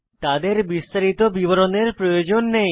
তাদের বিস্তারিত বিবরণের প্রয়োজন নেই